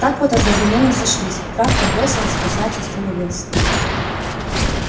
так вот одновременно сошлись травка бросилась а заяц остановился